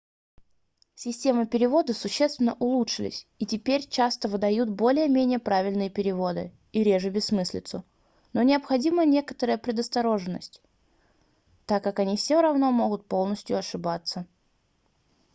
системы перевода существенно улучшились и теперь часто выдают более-менее правильные переводы и реже бессмыслицу но необходима некоторая предосторожность так как они все равно могут полностью ошибаться